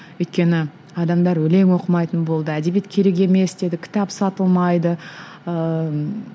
өйткені адамдар өлең оқымайтын болды әдебиет керек емес деді кітап сатылмайды ыыы